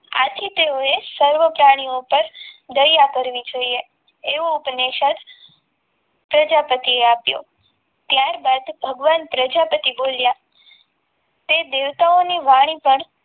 આથી તેઓએ સૌ પ્રાણીઓ પર દયા કરવી જોઈએ એવો ઉપનિષદ પ્રજાપતિ આપ્યો ત્યારબાદ ભગવાન પ્રજાપતિ બોલ્યા તે દેવતાઓની વાણી પણ